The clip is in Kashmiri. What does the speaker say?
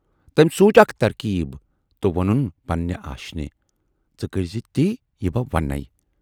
تمٔۍ سونچ اکھ ترکیٖب تہٕ وونُن پننہِ آشینہِ"ژٕ کٔرزِ تی، یہِ بہٕ وَنےَ